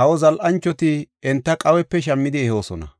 Kawa zal7anchoti enta Qaawepe shammidi ehoosona.